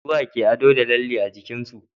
suwa ke ado da lalle a jikinsu